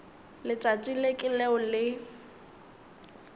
letšatši le ke leo le